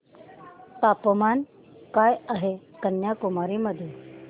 तापमान काय आहे कन्याकुमारी मध्ये